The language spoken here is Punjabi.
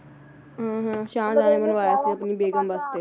ਹੁੰ ਹੁੰ ਸ਼ਾਹਜਹਾਂ ਨੇ ਬਣਵਾਇਆ ਸੀ ਆਪਣੀ ਬੇਗਮ ਵਾਸਤੇ